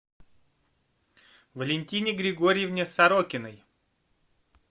валентине григорьевне сорокиной